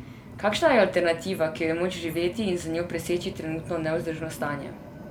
Kakšna je alternativa, ki jo je moč živeti in z njo preseči trenutno nevzdržno stanje?